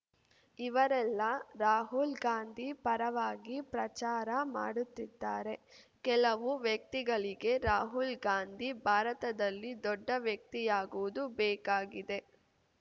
ಇವರೆಲ್ಲಾ ರಾಹುಲ್‌ ಗಾಂಧಿ ಪರವಾಗಿ ಪ್ರಚಾರ ಮಾಡುತ್ತಿದ್ದಾರೆ ಕೆಲವು ವ್ಯಕ್ತಿಗಳಿಗೆ ರಾಹುಲ್‌ ಗಾಂಧಿ ಭಾರತದಲ್ಲಿ ದೊಡ್ಡ ವ್ಯಕ್ತಿಯಾಗುವುದು ಬೇಕಾಗಿದೆ